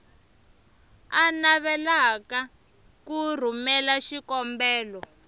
a navelaka ku rhumela xikombelo